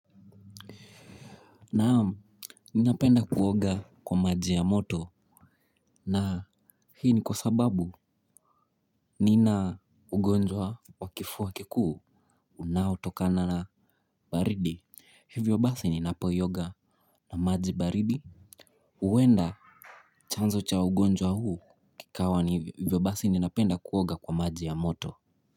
Naam ninapenda kuoga kwa maji ya moto na hii ni kwa sababu nina ugonjwa wa kifua kikuu. Unaotokana na baridi hivyo basi ninapooga na maji baridi huenda chanzo cha ugonjwa huu kikawa ni hivyo basi ninapenda kuoga kwa maji ya moto.